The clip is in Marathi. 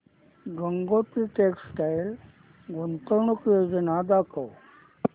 गंगोत्री टेक्स्टाइल गुंतवणूक योजना दाखव